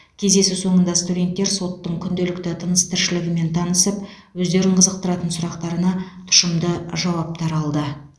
кездесу соңында студенттер соттың күнделікті тыныс тіршілігімен танысып өздерін қызықтыратын сұрақтарына тұшымды жауаптар алды